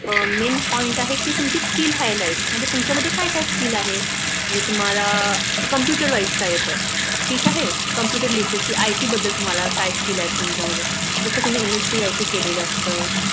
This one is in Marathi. Main point आहे कि तुमची Skill Highlight मजणजे तुमच्यात काय काय Skill आहेत तुम्हाला Computer मध्ये काय येते म्हण्जे computer literacy IT बदल काय Skill आहेत तुमच्या मध्ये जस कोणी MSCIT केलेलं असत